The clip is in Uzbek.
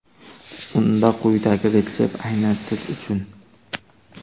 Unda quyidagi retsept aynan siz uchun!